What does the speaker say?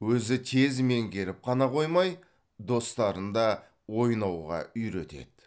өзі тез меңгеріп қана қоймай достарын да ойнауға үйретеді